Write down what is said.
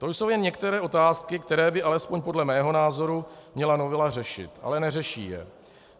To jsou jen některé otázky, které by alespoň podle mého názoru měla novela řešit, ale neřeší je.